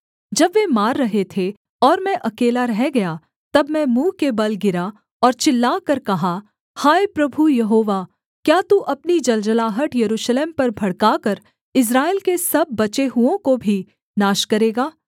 जब वे मार रहे थे और मैं अकेला रह गया तब मैं मुँह के बल गिरा और चिल्लाकर कहा हाय प्रभु यहोवा क्या तू अपनी जलजलाहट यरूशलेम पर भड़काकर इस्राएल के सब बचे हुओं को भी नाश करेगा